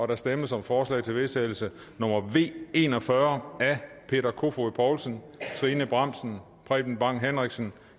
der stemmes om forslag til vedtagelse nummer v en og fyrre af peter kofod poulsen trine bramsen preben bang henriksen